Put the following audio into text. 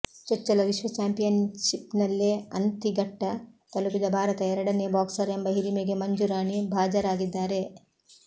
ಚೊಚ್ಚಲ ವಿಶ್ವ ಚಾಂಪಿಯನ್ಶಿಪ್ನಲ್ಲೇ ಅಂತಿ ಘಟ್ಟ ತಲುಪಿದ ಭಾರತದ ಎರಡನೇ ಬಾಕ್ಸರ್ ಎಂಬ ಹಿರಿಮೆಗೆ ಮಂಜು ರಾಣಿ ಭಾಜರಾಗಿದ್ದಾರೆ